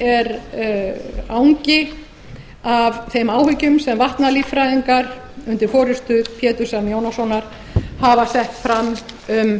er angi af þeim áhyggjum sem vatnalíffræðingar undir forustu péturs m jónassonar hafa sett fram um